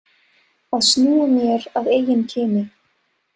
Að snúa mér að eigin kyni.